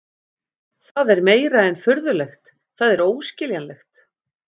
Það er meira en furðulegt, það er óskiljanlegt.